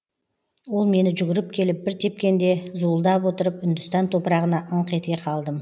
ол мені жүгіріп келіп бір тепкенде зуылдап отырып үндістан топырағына ыңқ ете қалдым